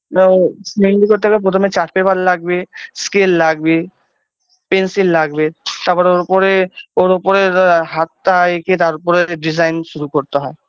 না ও মেহেন্দি করতে গেলে প্রথমে chart paper লাগবে scale লাগবে pencil লাগবে তারপর ওর উপরে ওর উপরে হাতটা একে তারপরে design শুরু করতে হয়